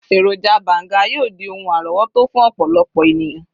eroja banga yíò di oun àrówòtó fún ọpọlọpọ eniyan.